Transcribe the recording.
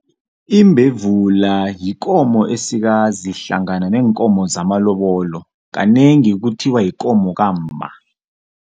Imbevula yikomo esikazi hlangana neenkomo zamalobolo, kanengi kuthiwa yikomo kamma.